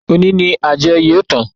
Òní ni àjọ yóò tán